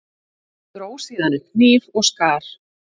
Dró síðan upp hníf og skar.